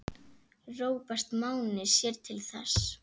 Róbert Máni sér til þess.